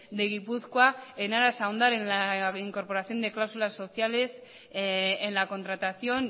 de gipuzkoa en aras a hondar en la incorporación de cláusulas sociales en la contratación